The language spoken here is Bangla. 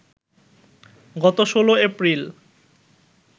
গত ১৬ এপ্রিল